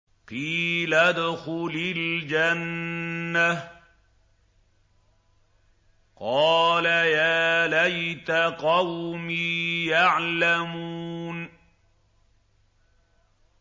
قِيلَ ادْخُلِ الْجَنَّةَ ۖ قَالَ يَا لَيْتَ قَوْمِي يَعْلَمُونَ